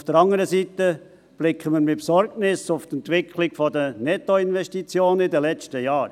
Auf der anderen Seite blicken wir mit Besorgnis auf die Entwicklung der Nettoinvestitionen in den letzten Jahren.